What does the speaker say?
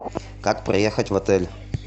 как проехать в отель